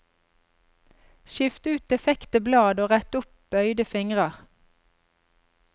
Skift ut defekte blad og rett opp bøyde fingrer.